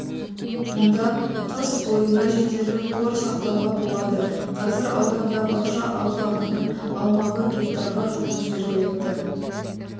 мұнда қыс бойына жетерлік қор сақтауға болады қазір ауданда бақша алқабының аумағы гектарға жуық жергілікті